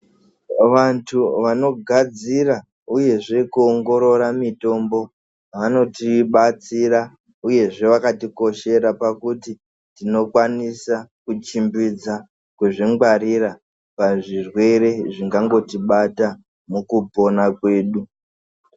Vantu vanogadzira, uyezve kuwongorora mitombo, vanotibatsira. Uyezve, vakatikoshera pakuti tinokwanisa kuchimbidza kuzvingwarira pazvirwere zvingangotibata mukupona kwedu.